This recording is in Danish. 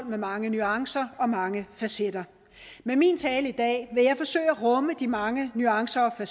med mange nuancer og mange facetter med min tale i dag vil jeg forsøge at rumme de mange nuancer og